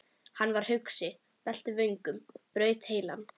Hann var hugsi, velti vöngum, braut heilann.